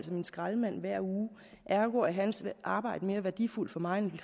min skraldemand hver uge ergo er hans arbejde mere værdifuldt for mig end